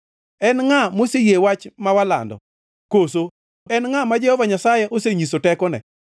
En ngʼa moseyie wach ma walando, koso en ngʼa ma Jehova Nyasaye osenyiso tekone?